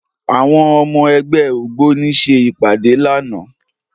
Àwọn ọmọ ẹgbẹ́ ògbóni ṣe ìpàdé lánàá